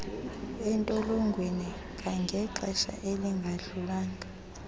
entolongweni kangangexesha elingadlulanga